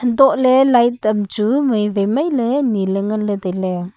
duh le light tam chu maivai mai le nyi le nganle taile.